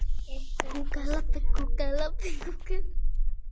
Smakka það.